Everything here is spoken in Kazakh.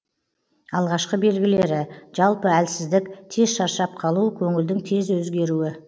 алғашқы белгілері жалпы әлсіздік тез шаршап қалу көңілдің тез өзгеруі